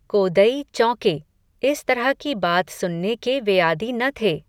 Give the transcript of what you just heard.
कोदई चौँके, इस तरह की बात सुनने के वे आदि न थे